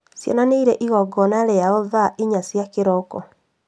Ciana nĩirĩ igongona rĩao thaa inya cia kĩroko